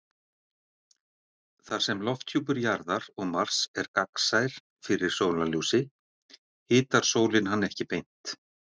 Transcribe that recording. Þar sem lofthjúpur Jarðar og Mars er gagnsær fyrir sólarljósi hitar sólin hann ekki beint.